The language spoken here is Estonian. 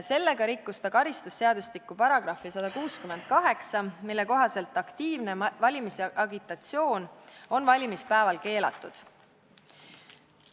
Sellega rikkus ta karistusseadustiku § 168, mille kohaselt on aktiivne valimisagitatsioon valimispäeval keelatud.